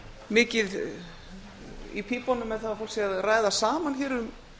mikið í pípunum með það að fólk sé að ræða saman hér um